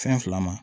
Fɛn fila ma